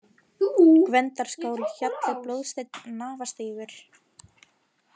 Gvendarskál, Hjalli, Blóðsteinn, Nafastígur